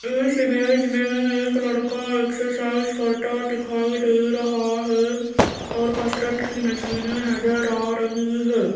इस इमेज मे एक लड़का एक्सरसाइज करता दिखाई दे रहा है और कसरत की मशीने नजर आ रही है।